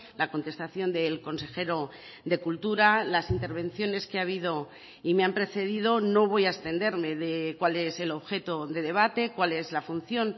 la contestación del consejero de cultura las intervenciones que ha habido y me han precedido no voy a extenderme de cuál es el objeto de debate cuál es la función